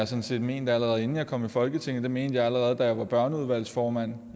sådan set ment allerede inden jeg kom i folketinget det mente jeg allerede da jeg var børneudvalgsformand